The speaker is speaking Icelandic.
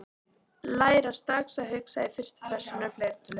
Læra strax að hugsa í fyrstu persónu fleirtölu